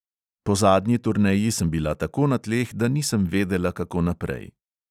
Po zadnji turneji sem bila tako na tleh, da nisem vedela, kako naprej.